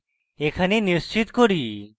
এখানে নিশ্চিত করি